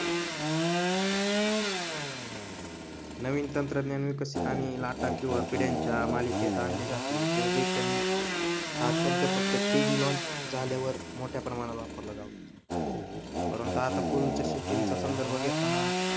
नवीन तंत्रज्ञान विकसित आणि पिढ्याच्या मालिकेत आणले जाते. जनरेशन हा शब्द फक्त थ्री G लाँच झाल्यावर मोठ्या प्रमाणात वापरला जातो परंतु आता पूर्वीच्या सिस्टिम चा संदर्भ घेताना,